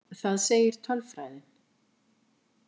Það segir tölfræðin.